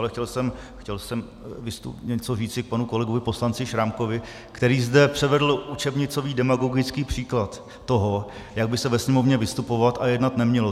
Ale chtěl jsem něco říci k panu kolegovi poslanci Šrámkovi, který zde předvedl učebnicový demagogický příklad toho, jak by se ve Sněmovně vystupovat a jednat nemělo.